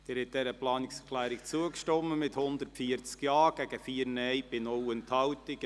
Sie haben dieser Planungserklärung zugestimmt, mit 140 Ja- gegen 4 Nein-Stimmen bei 0 Enthaltungen.